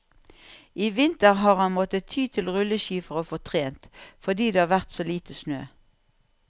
I vinter har han måttet ty til rulleski for å få trent, fordi det har vært så lite snø.